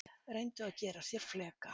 Reyndu að gera sér fleka